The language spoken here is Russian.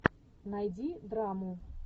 найди драму